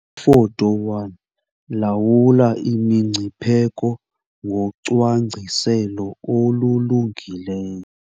Ifoto 1- Lawula imingcipheko ngocwangciselo olulungileyo.